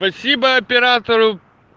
спасибо оператору